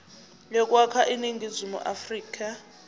yokwakha iningizimu afrika